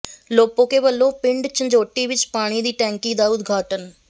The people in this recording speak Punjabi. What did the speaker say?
ਲੋਪੋਕੇ ਵੱਲੋਂ ਪਿੰਡ ਝੰਜੋਟੀ ਵਿੱਚ ਪਾਣੀ ਦੀ ਟੈਂਕੀ ਦਾ ਉਦਘਾਟਨ